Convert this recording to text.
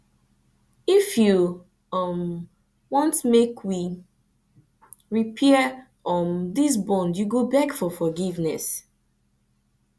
if you um want make we repair um dis bond you go beg for forgiveness